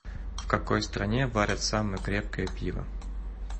в какой стране варят самое крепкое пиво